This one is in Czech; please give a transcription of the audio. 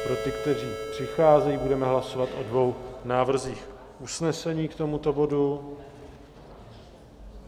Pro ty, kteří přicházejí: budeme hlasovat o dvou návrzích usnesení k tomuto bodu.